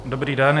Dobrý den.